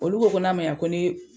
Olu ko ko n'a ma ɲa ko ni